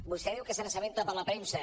vostè diu que se n’assabenta per la premsa